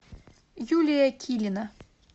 юлия килина